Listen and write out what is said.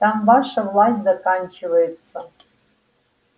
там ваша власть заканчивается